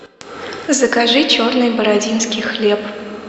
закажи черный бородинский хлеб